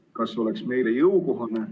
Ja kas see oleks meile jõukohane?